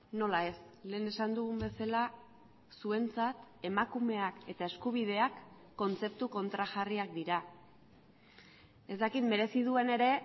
nola ez lehen esan dugun bezala zuentzat emakumeak eta eskubideak kontzeptu kontrajarriak dira ez dakit merezi duen ere